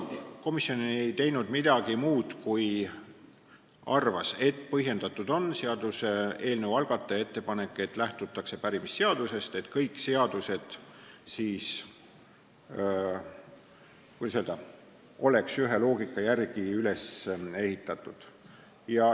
Komisjon ei teinud midagi muud, kui arvas, et on põhjendatud seaduseelnõu algataja ettepanek lähtuda pärimisseadusest, et kõik seadused oleks n-ö ühe loogika järgi üles ehitatud.